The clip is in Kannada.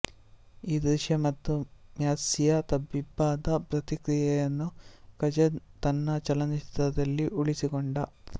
ಈ ದೃಶ್ಯ ಮತ್ತು ಮ್ಯಾಸ್ಸಿಯ ತಬ್ಬಿಬ್ಬಾದ ಪ್ರತಿಕ್ರಿಯೆಯನ್ನು ಕಜನ್ ತನ್ನ ಚಲನಚಿತ್ರದಲ್ಲಿ ಉಳಿಸಿಕೊಂಡ